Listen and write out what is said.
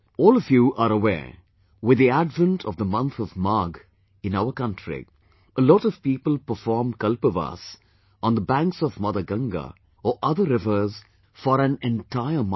All of you are aware with the advent of the month of Magh, in our country, a lot of people perform Kalpvaas on the banks of mother Ganga or other rivers for an entire month